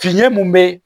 Fiɲɛ mun be